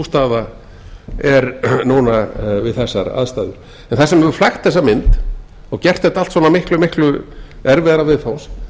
staða er núna við þessar aðstæður en það sem hefur flækt þessa mynd og gert þetta allt saman miklu miklu erfiðara viðfangs